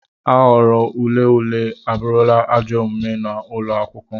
Aghụghọ ule ule abụrụla ajọ omume n'ụlọ akwụkwọ.